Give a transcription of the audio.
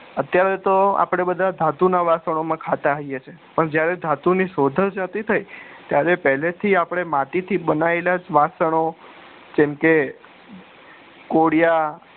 અત્યારે તો અપડા બધા ધાતુ ના વાસણો માં ખાતા હોઈએ છીએ પણ જયારે ધાતુ ની શોધ જ નતી થઇ ત્યારે આપડે પેહલાથી આપડે માટી થી બનાયેલા વાસણો જેમકે કોળિયા